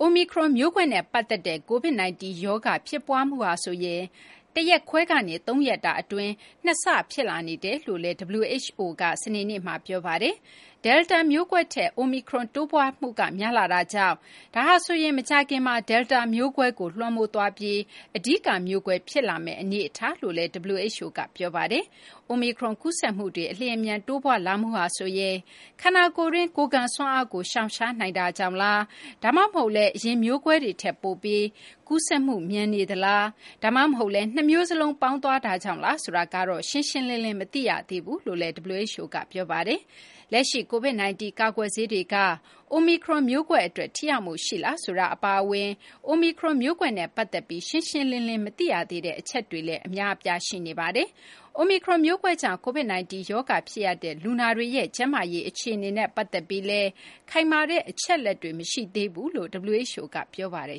အိုမီခရွန်မျိုးကွဲနဲ့ ပတ်သက်တဲ့ COVID-19 ရောဂါ ဖြစ်ပွားမှုဟာဆိုရင်လည်း တရက်ခွဲကနေ ၃ ရက်တာအတွင်း ၂ ဆ ဖြစ်လာနေတယ်လို့လည်း WHO က စနေနေ့မှာ ပြောပါတယ်။ ဒယ်လ်တာမျိုးကွဲထက် အိုမီခရွန် တိုးပွားမှုက များလာတာကြောင့် ဒါဟာဆိုရင် မကြာခင်မှာ ဒယ်လ်တာမျိုးကွဲကို လွှမ်းမိုးသွားပြီး အဓိကမျိုးကွဲ ဖြစ်လာမယ့် အနေအထားလို့လည်း WHO က ပြောပါတယ်။ အိုမီခရွန် ကူးစက်မှုတွေ အလျင်အမြန် တိုးပွားလာမှုဟာဆိုရင် ခန္ဓာကိုယ်တွင်း ကိုယ်ခံစွမ်းအားကို ရှောင်ရှားနိုင်တာကြောင့်လား ဒါမှမဟုတ်လည်း အရင်မျိုးကွဲတွေထက် ပိုပြီး ကူးစက်မှု မြန်နေတာလား ဒါမှဟုတ်လည်း နှစ်မျိုးစလုံး ပေါင်းသွားတာကြောင့်လား ဆိုတာတော့ ရှင်းရှင်းလင်းလင်း မသိရသေးကြောင်း WHO က ပြောပါတယ်။ လက်ရှိ COVID-19 ကာကွယ်ဆေးတွေက အိုမီခရွန် မျိုးကွဲအတွက် ထိရောက်မှုရှိလား ဆိုတာ အပါအဝင် အိုမီခရွန်မျိုးကွဲနဲ့ ပတ်သက်ပြီး ရှင်းရှင်းလင်းလင်း မသိရသေးတဲ့ အချက်တွေလည်း ရှိနေပါတယ်။ အိုမီခရွန်မျိုးကွဲကြောင့် COVID-19 ရောဂါ ဖြစ်ရတဲ့ လူနာတွေရဲ့ ကျန်းမာရေး အခြေအနေနဲ့ ပတ်သက်ပြီးလည်း ခိုင်မာတဲ့ အချက်အလက်တွေ မရှိသေးကြောင်း WHO က ပြောပါတယ်